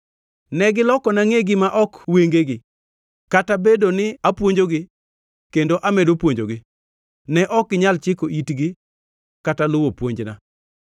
Negilokona ngʼegi ma ok wengegi; kata obedo ni apuonjogi kendo amedo puonjogi, ne ok ginyal chiko itgi kata luwo puonjna.